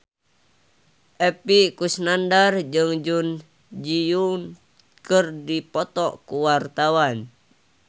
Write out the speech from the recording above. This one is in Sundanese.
Epy Kusnandar jeung Jun Ji Hyun keur dipoto ku wartawan